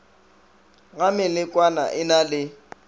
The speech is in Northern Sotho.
ga melekwana e na le